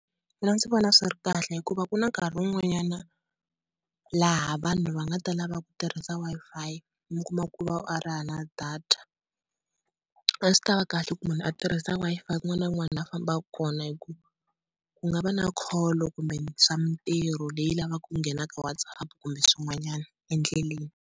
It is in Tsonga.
Mina ndzi vona swi ri kahle hikuva ku na nkarhi wun'wanyana laha vanhu va nga ta lava ku tirhisa Wi-Fi, mi kuma ku u va a ri hava na data. A swi ta va kahle ku munhu a tirhisa Wi-Fi kun'wana na kun'wana laha a fambaka kona hi ku ku nga va na call kumbe swa mintirho leyi lavaku ku nghena ka WhatsApp kumbe swin'wanyana endleleni.